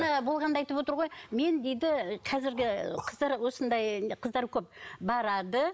болғанды айтып отыр ғой мен дейді қазіргі қыздар осындай қыздар көп барады